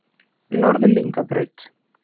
Norðlingabraut